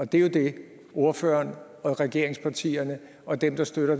det er jo det ordføreren og regeringspartierne og dem der støtter